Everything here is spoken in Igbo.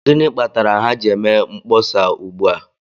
Gịnị kpatara ha ji eme mkpọsa ugbu a?